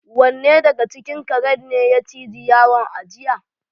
Wanne daga cikin karen ne ya ciji yaron a jiya?